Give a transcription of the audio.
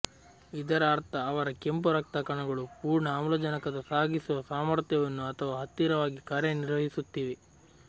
ಇದರ ಅರ್ಥ ಅವರ ಕೆಂಪು ರಕ್ತ ಕಣಗಳು ಪೂರ್ಣ ಆಮ್ಲಜನಕದ ಸಾಗಿಸುವ ಸಾಮರ್ಥ್ಯವನ್ನು ಅಥವಾ ಹತ್ತಿರವಾಗಿ ಕಾರ್ಯನಿರ್ವಹಿಸುತ್ತಿವೆ